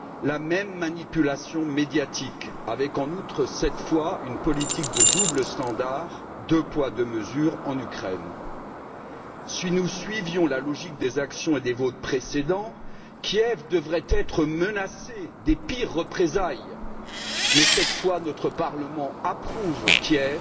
la même manipulation médiatique avec, en outre, cette fois une politique de double standard, deux poids, deux mesures, en Ukraine. Si nous suivions la logique des actions et des votes précédents, Kiev devrait être menacé des pires représailles mais, cette fois, notre Parlement approuve Kiev